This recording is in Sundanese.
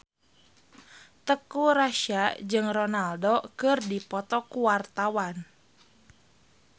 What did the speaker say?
Teuku Rassya jeung Ronaldo keur dipoto ku wartawan